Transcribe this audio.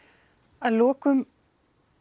að lokum